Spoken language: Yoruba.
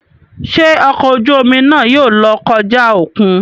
Ṣe ọkọ ojú omi náà yóò lọ kọja okùn?